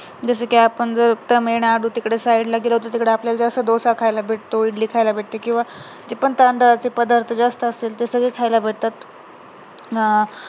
जसं कि आपण जर तिकडच्या side ला गेलो तर तिकडे आपल्याला डोसा खायला भेटतो, इडली खायला भेटते किंवा जे पण तऱ्हातऱ्हांचे पदार्थ जास्त असतात ते पण खायला भेटतात अं